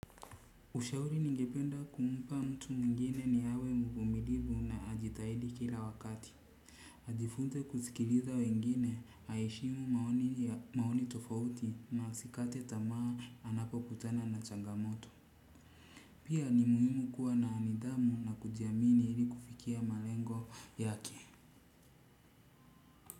Ushauri ningependa kumpa mtu mwingine ni awe mvumilivu na ajitahidi kila wakati. Ajifunze kusikiliza wengine aheshimu maoni tofauti na asikate tamaa anapokutana na changamoto. Pia ni muhimu kuwa na nidhamu na kujiamini ili kufikia malengo yake.